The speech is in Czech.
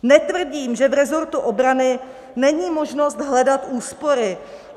Netvrdím, že v resortu obrany není možnost hledat úspory.